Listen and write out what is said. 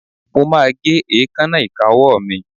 Mo máa gé èékánná ìka ọwọ́ mi.